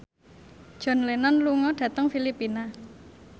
John Lennon lunga dhateng Filipina